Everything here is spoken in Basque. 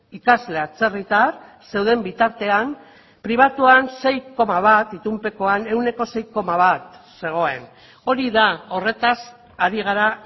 ikasle atzerritar zeuden bitartean pribatuan sei koma bat itunpekoan ehuneko sei koma bat zegoen hori da horretaz ari gara